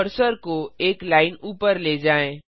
cursor को एक line ऊपर ले जाएं